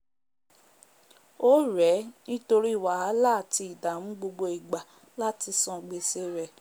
órèé nítórí wàhálà àti ìdàmù gbogbo igbà láti san gbèse rè